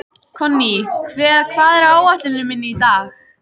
Konný, hvað er á áætluninni minni í dag?